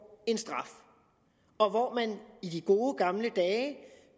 en straf og i de gode gamle dage